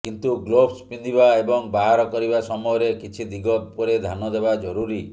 କିନ୍ତୁ ଗ୍ଲୋଭ୍ସ ପିନ୍ଧିବା ଏବଂ ବାହାର କରିବା ସମୟରେ କିଛି ଦିଗ ଉପରେ ଧ୍ୟାନ ଦେବା ଜରୁରୀ